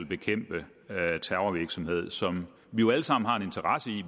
bekæmpe terrorvirksomhed som vi jo alle sammen har en interesse i